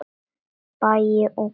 Baggi og Hnútur